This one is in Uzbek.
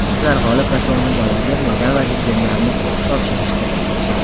Ular g‘olib va sovrindorlarga medal va diplomlarni topshirishdi.